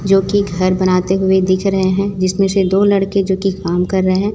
जो कि घर बनाते हुए दिख रहे हैं जिसमें से दो लड़के जो कि काम कर रहे हैं।